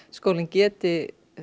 skólinn geti